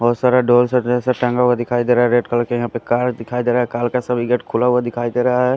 बहुत सारा ढोल और ड्रेसर टंगा हुआ दिखाई दे रहा है रेड कलर का यहाँ पे कार दिखाई दे रहा है कार का सभी गेट खुला हुआ दिखाई दे रहा है ।